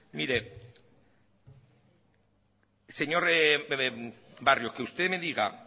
mire señor barrio que usted me diga